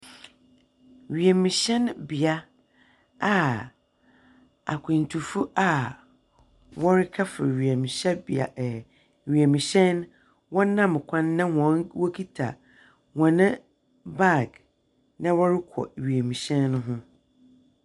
Wimuhyɛn bea a akwentufo a hɔrekɛfor wimuhyɛnbea, ɛɛ wimuhyɛn no wɔnam kwan na wokita hɔn bag, na wɔrokɔ wimuhyɛn no ho.